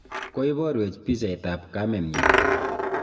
koiboruech pichaitab kamenyin